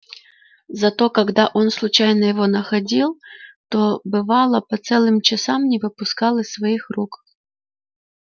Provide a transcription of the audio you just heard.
зато когда он случайно его находил то бывало по целым часам не выпускал из своих рук